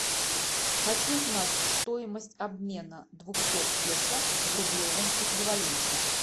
хочу знать стоимость обмена двухсот песо в рублевом эквиваленте